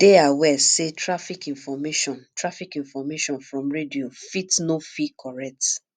dey aware sey traffic information traffic information from radio fit no fey correct